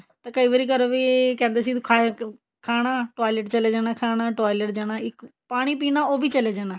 ਤੇ ਕਈ ਵਾਰ ਇਹ ਵੀ ਕਹਿੰਦੇ ਸੀ ਖਾਣਾ toilet ਚਲੇ ਜਾਣਾ ਖਾਣਾ toilet ਜਾਣਾ ਪਾਣੀ ਪੀਣਾ ਉਹ ਵੀ ਚਲੇ ਜਾਣਾ